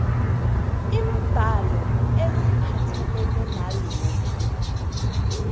iimbalo eziphathelene nalokhu